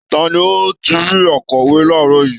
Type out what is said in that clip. Ta ni ó ti rí akọ̀wé láàárọ̀ yìí?